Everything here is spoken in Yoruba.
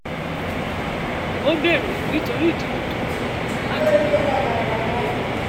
ó bèrè nítorí ìdìbò tó ń bọ láti ní owó tó yó ilé